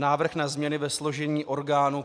Návrh na změny ve složení orgánů